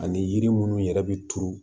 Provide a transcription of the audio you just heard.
Ani yiri munnu yɛrɛ bɛ turu